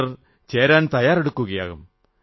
ചിലർ ചേരാൻ തയ്യാറെടുക്കുകയാകും